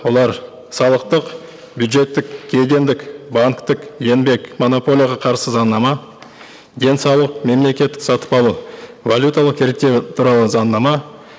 олар салықтық бюджеттік кедендік банктік еңбек монополияға қарсы заңнама денсаулық мемлекеттік сатып алу валюталық реттеу туралы заңнама